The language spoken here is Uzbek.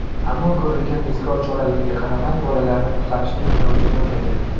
Ammo ko‘rilgan tezkor choralarga qaramay, bolalarni qutqarishning iloji bo‘lmagan.